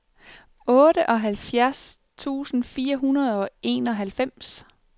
otteoghalvfjerds tusind fire hundrede og enoghalvfems